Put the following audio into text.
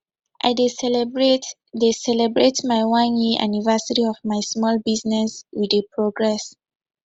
i dey celebrate dey celebrate my one year anniversary of my small business we dey progress